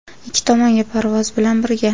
Ikki tomonga parvoz bilan birga.